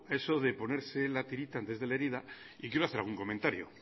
eso de ponerse la tirita antes de la herida y quiero hacer algún comentario